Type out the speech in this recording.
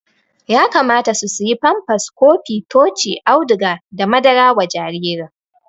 Yakamata su siya famfas, kofi ,tochi, auduga da madara wa jaririn